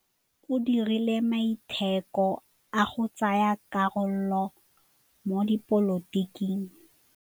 O dirile maitekô a go tsaya karolo mo dipolotiking.